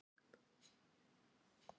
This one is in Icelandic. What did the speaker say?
kæri, kæra, kæru